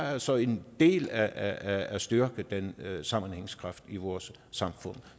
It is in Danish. er altså en del af at styrke den sammenhængskraft i vores samfund